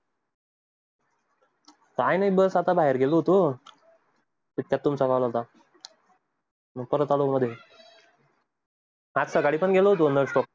काय नाही बस आता बाहेर गेलो होतो. तुमचा call होता, मी परत आलो आता गाडी पण गेलो होतो.